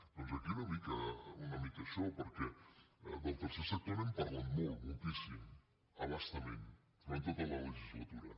doncs aquí una mica això perquè del tercer sector n’hem parlat molt moltíssim a bastament durant tota la legislatura